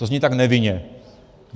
To zní tak nevinně.